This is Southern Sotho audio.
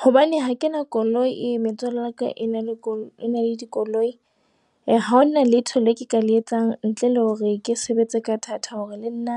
Hobane ha ke na koloi metswalle ya ka e na le call ena le dikoloi . Ha hona letho le ka le etsang ntle le hore ke sebetse ka thata hore le nna